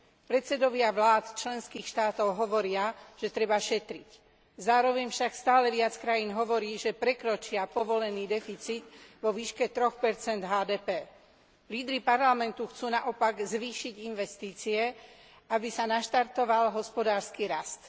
Predsedovia vlád členských štátov hovoria, že treba šetriť. Zároveň však stále viac krajín hovorí, že prekročia povolený deficit vo výške 3 HDP. Lídri Parlamentu chcú naopak zvýšiť investície, aby sa naštartoval hospodársky rast.